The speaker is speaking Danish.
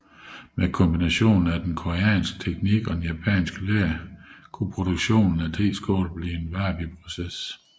Med kombinationen af den koreanske teknik og det japanske ler kunne produktionen af teskålene blive en wabiproces